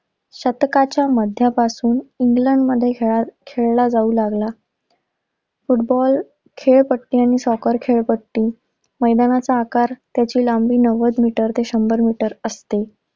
शतकाच्या मध्यापासून इंग्लंडमध्ये खेळ~खेळला जाऊ लागला. फुटबॉल खेळपट्टी आणि सॉकर खेळपट्टी, मैदानाचा आकार त्याची लांबी नव्वद मीटर ते शंभर मीटर असते.